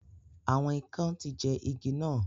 Awọn ikán ti jẹ igi nà